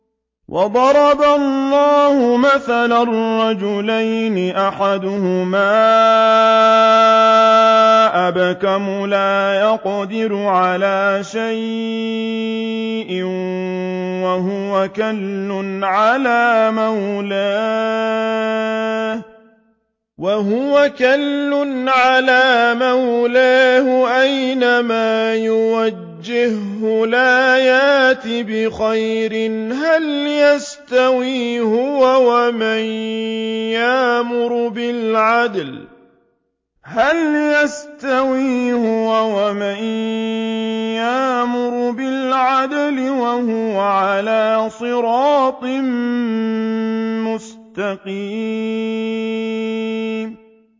وَضَرَبَ اللَّهُ مَثَلًا رَّجُلَيْنِ أَحَدُهُمَا أَبْكَمُ لَا يَقْدِرُ عَلَىٰ شَيْءٍ وَهُوَ كَلٌّ عَلَىٰ مَوْلَاهُ أَيْنَمَا يُوَجِّههُّ لَا يَأْتِ بِخَيْرٍ ۖ هَلْ يَسْتَوِي هُوَ وَمَن يَأْمُرُ بِالْعَدْلِ ۙ وَهُوَ عَلَىٰ صِرَاطٍ مُّسْتَقِيمٍ